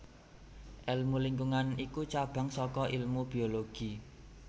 Èlmu lingkungan iku cabang saka ilmu biologi